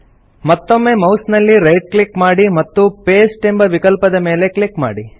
ಮತ್ತೊಮ್ಮೆ ಮೌಸ್ ನಲ್ಲಿ right click ಮಾಡಿ ಮತ್ತು ಪಾಸ್ಟೆ ಎಂಬ ವಿಕಲ್ಪದ ಮೇಲೆ ಕ್ಲಿಕ್ ಮಾಡಿ